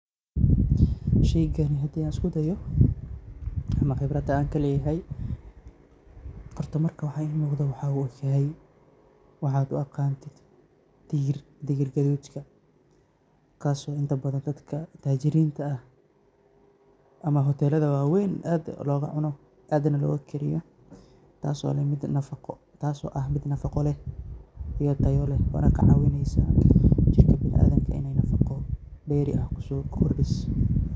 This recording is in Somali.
Shaygani hadii aan usku dayo ama qibrada aan ka leeyahay; horta marka waxaa ii muuqdo waxaa u egyahay waxaa aad u aqaantid digir. Digir gadudka kaas oo inta badan dadka taajirinta ah ama hoteelada waaweyn aad loogu cuno aadna loogu kariyo, taas oo leh mid nafaqo, taas oo ah mid nafaqo leh iyo tayalo leh. Waana kaa caawinaysa jirka bina'aadinka inay nafaqo dheeri ah ku soo kordhiso.